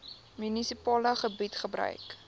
munisipale gebied gebruik